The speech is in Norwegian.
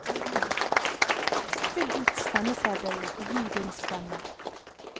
Fyll ut stemmeseddelen og gi din stemme.